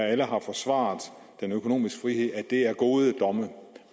alle har forsvaret den økonomiske frihed er gode domme